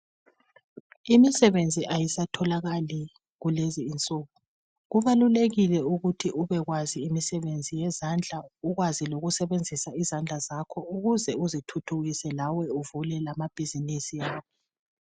Imisebenzi ayisatholakali kulezinsuku kubalulekile ukuthi ubekwazi imisebenzi yezandla ukwazi ukusebenzisa izandla zakho ukuze uzithuthukise uvule lamabhizimusi.